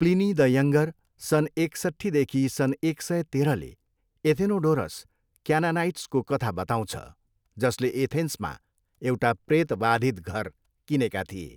Pliny the Younger, सन् एकसट्ठीदेखि सन् एक सय तेह्रले एथेनोडोरस क्यानानाइट्सको कथा बताउँछ, जसले एथेन्समा एउटा प्रेतवाधित घर किनेका थिए।